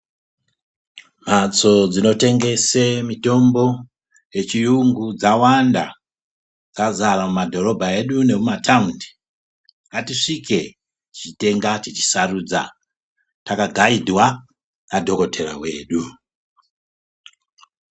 Mhatso dzinotengese mitombo yechiyungu dzakawanda, dzazara mumadhorobha edu nemumathaundi. Ngatisvike, tichitenga, tichisarudza ,takagaidwa nadhokodhera wedu.